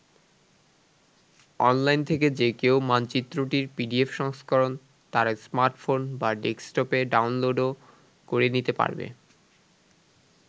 Online থেকে যে কেউ মানচিত্রটির পিডিএফ সংস্করণ তার স্মার্টফোন বা ডেস্কটপে ডাউনলোডও করে নিতে পারবে।